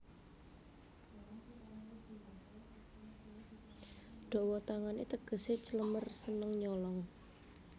Dawa tangané tegesé clemer seneng nyolong